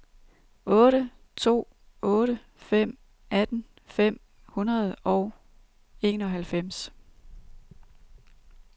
otte to otte fem atten fem hundrede og enoghalvfems